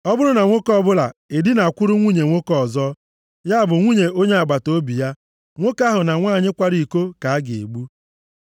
“ ‘Ọ bụrụ na nwoke ọbụla edinakwuru nwunye nwoke ọzọ, ya bụ nwunye onye agbataobi ya, nwoke ahụ na nwanyị kwara iko ka a ga-egbu.